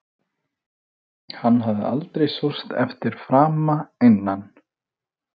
Hann hafði aldrei sóst eftir frama innan